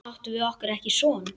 Áttum við okkur ekki son?